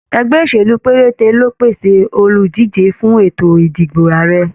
Ẹgbẹ́ òṣèlú pérété ló pèsè oludije fún ètò ìdìbò Ààrẹ.